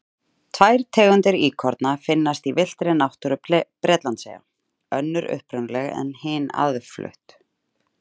Tvær tegundir íkorna finnast í villtri náttúru Bretlandseyja, önnur upprunaleg en hin aðflutt.